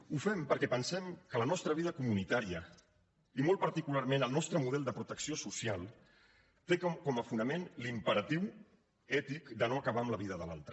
ho fem perquè pensem que la nostra vida comunitària i molt particularment el nostre model de protecció social té com a fonament l’imperatiu ètic de no acabar amb la vida de l’altre